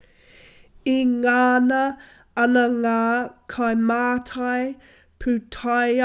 e ngana ana ngā kaimātai pūtaiao ki te hanga i tētahi momo pūrere e ōrite ana tōna whakaputa ngao